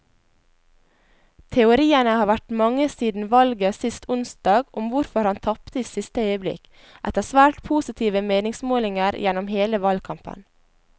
Teoriene har vært mange siden valget sist onsdag om hvorfor han tapte i siste øyeblikk, etter svært positive meningsmålinger gjennom hele valgkampen.